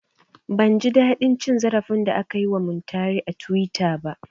Ban ji daɗin cin zarafin da aka yi wa Muntari a tuwita ba